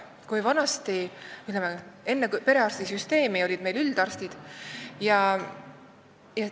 Vanasti, ütleme, enne perearstisüsteemi olid meil üldarstid.